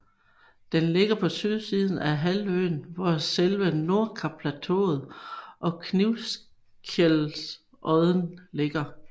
Den ligger på sydsiden af halvøen hvor selve Nordkapplateauet og Knivskjellodden ligger